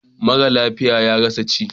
Mara lafiya ya rasa ci.